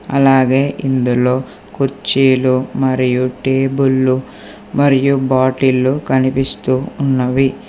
అలాగే ఇందులో కుర్చీలు మరియు టేబులు మరియు బాటిల్లు కనిపిస్తూ ఉన్నవి.